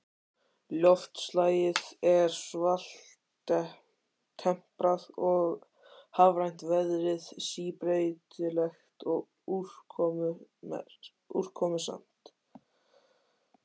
Loftslagið er svaltemprað og hafrænt, veðrið síbreytilegt og úrkomusamt.